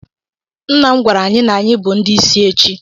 Nna m gwara anyi na anyi bu ndi isi echi.